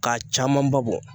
K'a camanba bɔ